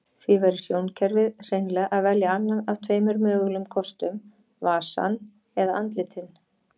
Því verður sjónkerfið hreinlega að velja annan af tveimur mögulegum kostum, vasann eða andlitin.